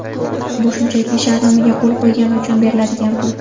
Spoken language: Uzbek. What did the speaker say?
Bu shunchaki shartnomaga qo‘l qo‘ygani uchun beriladigan pul.